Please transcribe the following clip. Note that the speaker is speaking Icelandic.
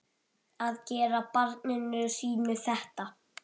Að gera barninu sínu þetta!